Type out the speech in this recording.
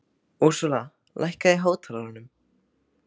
Úrsúla, lækkaðu í hátalaranum.